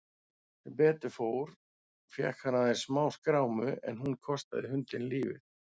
Sem betur fór fékk hann aðeins smáskrámu en hún kostaði hundinn lífið.